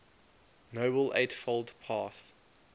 noble eightfold path